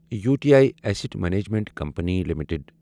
U T I asset management company limited